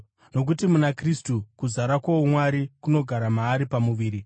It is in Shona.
Nokuti muna Kristu kuzara kwouMwari kunogara maari pamuviri,